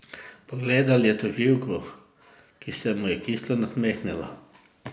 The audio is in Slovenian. Pogledal je tožilko, ki se mu je kislo nasmehnila.